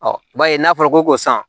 i b'a ye n'a fɔra ko san